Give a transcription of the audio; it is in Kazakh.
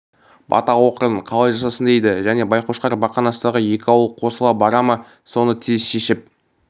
бата оқырын қалай жасасын дейді және байқошқар бақанастағы екі ауыл қосыла бара ма соны тез шешіп